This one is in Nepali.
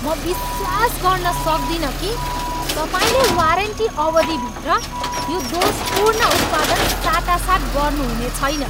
म विश्वास गर्न सक्दिनँ कि तपाईँले वारेन्टी अवधिभित्र यो दोषपूर्ण उत्पादन साटासाट गर्नुहुने छैन।